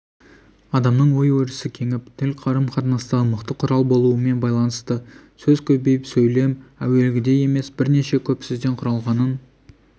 адамның ой-өрісі кеңіп тіл қарым-қатынастағы мықты құрал болуымен байланысты сөз көбейіп сөйлем әуелгідей емес бірнеше көп сөзден құралғанын